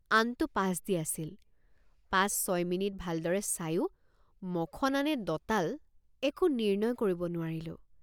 আনটো পাছ দি আছিল পাঁচ ছয় মিনিট ভালদৰে চায়ো মখনা নে দঁতাল একো নিৰ্ণয় কৰিব নোৱাৰিলোঁ।